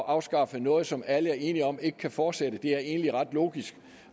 afskaffe noget som alle er enige om ikke kan fortsætte det er egentlig ret logisk